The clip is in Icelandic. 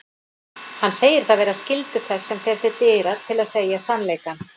Hann segir það vera skyldu þess sem fer til dyra til að segja sannleikann.